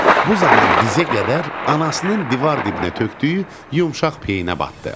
Bu zaman dizə qədər anasının divar dibinə tökdüyü yumşaq peyinə batdı.